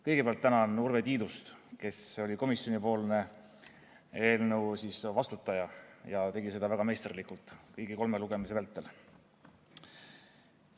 Kõigepealt tänan Urve Tiidust, kes oli komisjonis eelnõu eest vastutaja ja tegi seda väga meisterlikult kõigi kolme lugemise vältel.